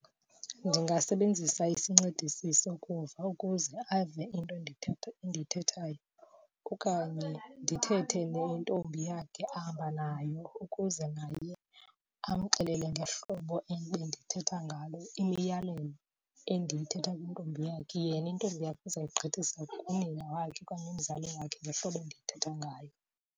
Ndingasebenzisa isincedisi sokuva ukuze ave into endiyithethayo okanye ndithethe nentombi yakhe ahamba nayo ukuze naye amxelele ngehlobo ebendithetha ngalo imiyalelo endiyithetha kwintombi yakhe. Yena intombi yakho izoyigqithisela kunina wakhe okanye kuumzali wakhe ngehlobo endiyithetha ngayo.